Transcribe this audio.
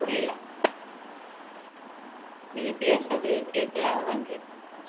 புரியல நீங்க பேசுறது கேக்கல அதான் கேட்டேன்